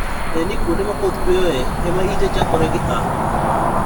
Ne ni kuonde ma koth chueyoe e ma ite chakore gi A.